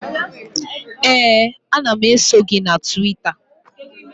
Ee, ana m eso gị na Twita